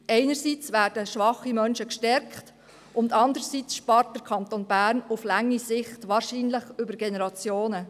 Einerseits werden schwache Menschen gestärkt, andererseits spart der Kanton Bern langfristig – wahrscheinlich über Generationen.